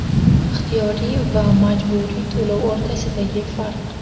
Ixtiyoriy va majburiy to‘lov o‘rtasidagi farq.